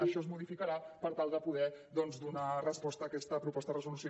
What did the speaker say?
això es modificarà per tal de poder doncs donar resposta a aquesta proposta de resolució